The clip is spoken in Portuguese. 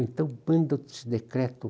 Então manda esse decreto.